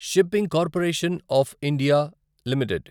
shipping corporation of India limited